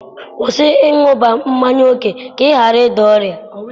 Kwụsị ịṅụbiga mmanya ókè, ka ị ghara ịda ọrịa!